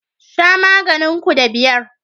Sha maganin ku da biyar